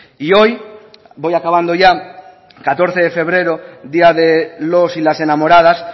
y hoy voy acabando ya catorce de febrero día de los y las enamoradas